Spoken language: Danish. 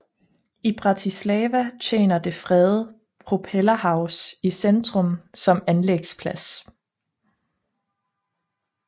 I Bratislava tjener det fredede Propellerhaus i centrum som anlægsplads